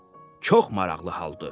Çox maraqlı haldır.